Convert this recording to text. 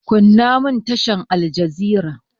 Kunna mun tashar aljazira!